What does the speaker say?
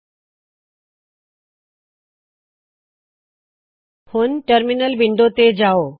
ਚਲੋ ਹੁਣ terminal window ਤੇ ਜਾਓ